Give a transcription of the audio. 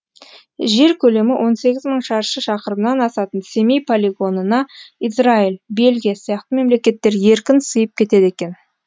жер көлемі он сегіз мың шаршы шақырымнан асатын семей полигонына израиль бельгия сияқты мемлекеттер еркін сиып кетеді екен